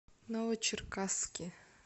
новочеркасске